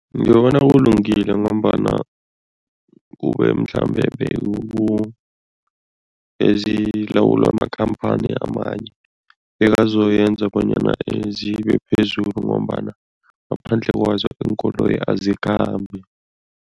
Ngibona kulungile ngombana kube mhlambe bezilawulwa makhamphani amanye, bekazoyenza bonyana zibe phezulu ngombana ngaphandle kwazo iinkoloyi azikhambi.